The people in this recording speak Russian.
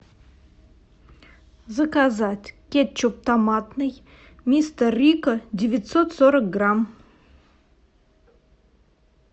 заказать кетчуп томатный мистер рикко девятьсот сорок грамм